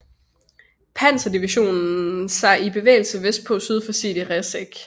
Panzerdivision sig i bevægelse vestpå syd for Sidi Rezegh